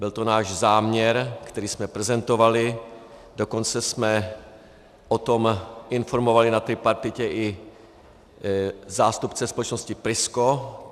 Byl to náš záměr, který jsme prezentovali, dokonce jsme o tom informovali na tripartitě i zástupce společnosti Prisco.